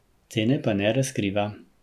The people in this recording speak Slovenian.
Cene pa ne razkriva.